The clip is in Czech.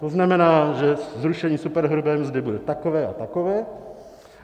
To znamená, že zrušení superhrubé mzdy bude takové a takové.